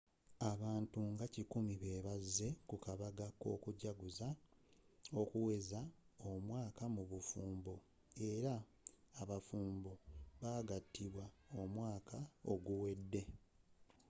abantu nga kikumi be bazze ku kabaga k'okujaguza okuweza omwaka mu bufumbo eya bafumbo abaagattibwa omwaka oguwedde